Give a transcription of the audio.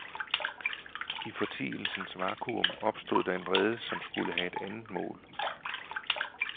I fortielsens vakuum opstod der en vrede, som skulle have et andet mål.